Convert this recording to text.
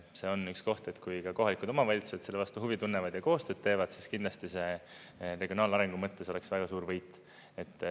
See on üks koht, et kui ka kohalikud omavalitsused selle vastu huvi tunnevad ja koostööd teevad, siis kindlasti see regionaalarengu mõttes oleks väga suur võit.